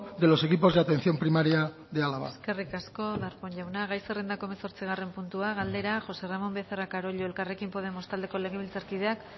de los equipos de atención primaria de álava eskerrik asko darpón jauna gai zerrendako hamazortzigarren puntua galdera josé ramón becerra carollo elkarrekin podemos taldeko legebiltzarkideak